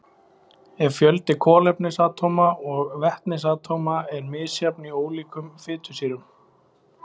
En fjöldi kolefnisatóma og vetnisatóma er misjafn í ólíkum fitusýrum.